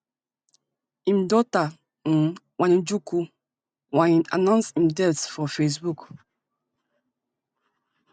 im daughter um wanjiku wa ngg announce im death for facebook